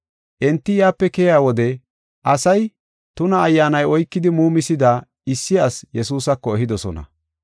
Enti yaape keyiya wode asay tuna ayyaanay oykidi muumisida issi asi Yesuusako ehidosona.